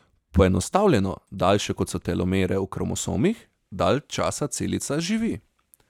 Poenostavljeno, daljše kot so telomere v kromosomih, dalj časa celica živi.